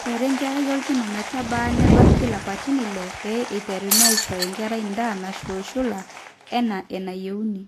eishori enkerai orkina metaba nebaiki lapaitin ile pee eiteruni aisho enkai daa nashulushula enaa enayieuni